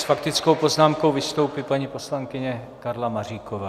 S faktickou poznámkou vystoupí paní poslankyně Karla Maříková.